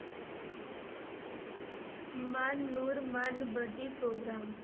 ਮਨ ਨੂਰ ਮਨਬਦੀ ਪ੍ਰੋਗਰਾਮ।